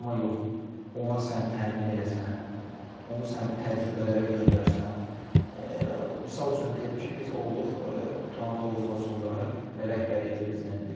Amma yox, ona sən təmin eləsən, onu sən təcrübələrə göndərsən, misal üçün deyim ki, biz olduq Turan Tovuzla son dəfə rəhbərlik də bizlə idi.